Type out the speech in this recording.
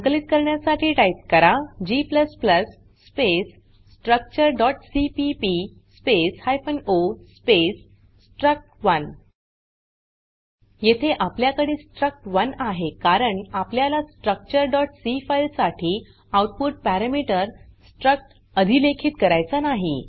संकलित करण्यासाठी टाइप करा g स्पेस structureसीपीपी space hyphen O space struct one येथे आपल्याकडे स्ट्रक्ट1 आहे कारण आपल्याला structureसी फाइल साठी आउटपुट पॅरमीटर स्ट्रक्ट अधिलेखित करायचा नाही